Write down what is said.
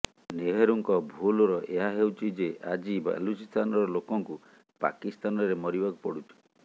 ନେହେରୁଙ୍କ ଭୁଲ୍ର ଏହା ହେଉଛି ଯେ ଆଜି ବାଲୁଚିସ୍ତାନର ଲୋକଙ୍କୁ ପାକିସ୍ତାନରେ ମରିବାକୁ ପଡ଼ୁଛି